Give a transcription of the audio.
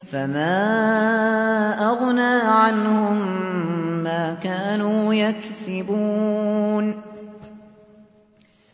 فَمَا أَغْنَىٰ عَنْهُم مَّا كَانُوا يَكْسِبُونَ